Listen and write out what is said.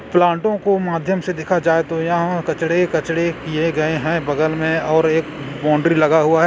प्लांटों को माध्यम से देखा जाए तो यहाँ कचड़े-कचड़े किये गए हैं बगल में और एक बाउंड्री लगा हुआ हैं।